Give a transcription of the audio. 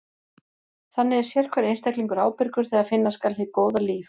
Þannig er sérhver einstaklingur ábyrgur þegar finna skal hið góða líf.